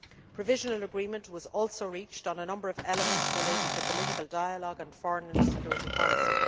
Provisional agreement was also reached on a number of elements relating to political dialogue and foreign and security policy.